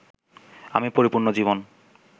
আমি পরিপূর্ণ জীবন